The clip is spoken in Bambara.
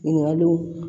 Ɲininkaliw